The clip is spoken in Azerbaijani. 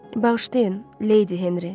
Bağışlayın, leydi Henri.